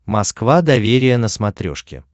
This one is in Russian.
москва доверие на смотрешке